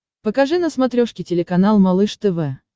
покажи на смотрешке телеканал малыш тв